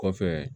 Kɔfɛ